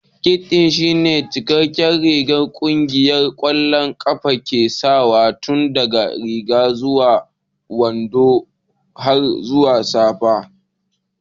Kit ɗin shine cikakken rigar da ƙungiyar ƙwallon ƙafa ke sawa tun daga riga zuwa guntun wando har zuwa safa.